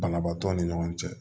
Banabaatɔ ni ɲɔgɔn cɛ